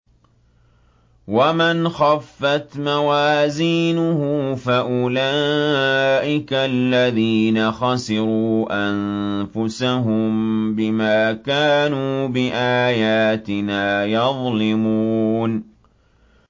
وَمَنْ خَفَّتْ مَوَازِينُهُ فَأُولَٰئِكَ الَّذِينَ خَسِرُوا أَنفُسَهُم بِمَا كَانُوا بِآيَاتِنَا يَظْلِمُونَ